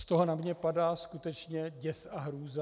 Z toho na mě padá skutečně děs a hrůza.